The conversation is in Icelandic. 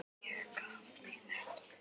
Ég gaf mig ekki!